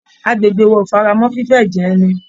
Agbègbè wa ò faramọ́ fífé ẹ̀jẹ̀ ẹni